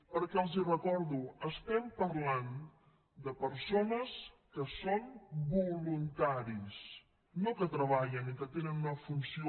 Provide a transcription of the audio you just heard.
perquè els ho recordo estem parlant de persones que són voluntaris no que treballen i que tenen una funció